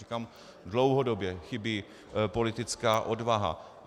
Říkám, dlouhodobě chybí politická odvaha.